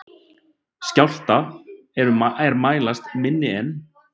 Skjálftar er mælast minni en